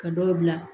Ka dɔ bila